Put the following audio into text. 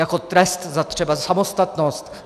Jako trest třeba za samostatnost.